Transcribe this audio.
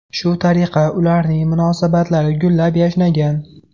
Shu tariqa ularning munosabatlari gullab-yashnagan.